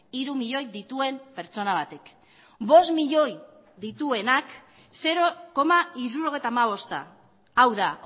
hiru milioi dituen pertsona batek bost milioi dituenak zero koma hirurogeita hamabosta hau da